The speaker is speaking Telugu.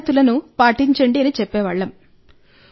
పద్ధతులను పాటించండని చెప్పేవాళ్ళం